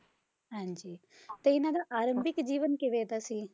ਹਾਂਜੀ, ਤੇ ਇਹਨਾਂ ਦਾ ਆਰੰਭਿਕ ਜੀਵਨ ਕਿਵੇਂ ਦਾ ਸੀ?